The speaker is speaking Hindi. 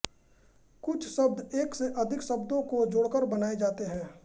कुछ शब्द एक से अधिक शब्दों को जोड़कर बनाए जाते हैं